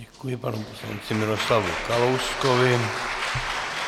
Děkuji panu poslanci Miroslavu Kalouskovi.